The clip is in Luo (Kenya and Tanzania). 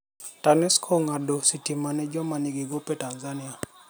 Tanesco ong'ado sitima ne joma nigi gope Tanzania.